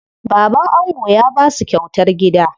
Baban ango ya basu kyautar gida.